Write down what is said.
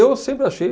sempre achei